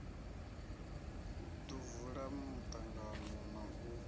ḓo vula muṱangano na u